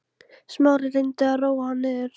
Smári reyndi að róa hana niður.